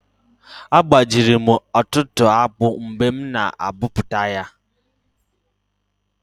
Agbajiri m ọtụtụ akpụ mgbe m na abọpụta ya